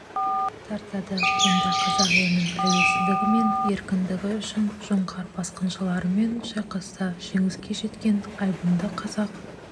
тартады онда қазақ елінің тәуелсіздігі мен еркіндігі үшін жоңғар басқыншыларымен шайқаста жеңіске жеткен айбынды қазақ